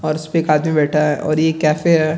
और उसपे एक आदमी बैठा है और ये कैफ़े है।